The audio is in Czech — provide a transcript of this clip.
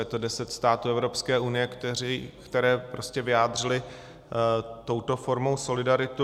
Je to deset států Evropské unie, které prostě vyjádřily touto formou solidaritu.